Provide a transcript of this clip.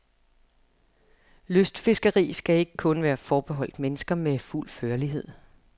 Lystfiskeri skal ikke kun være forbeholdt mennesker med fuld førlighed.